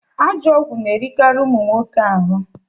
Ajọ ọgwụ na erikarị ụmụ nwoke ahụ